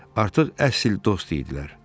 Artıq əsl dost idilər.